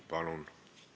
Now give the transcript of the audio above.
Palun!